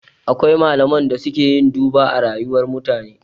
Akwai malaman da suke yin duba a rayuwar mutane